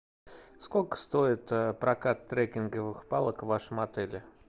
сколько стоит прокат трекинговых палок в вашем отеле